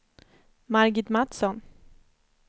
Margit Matsson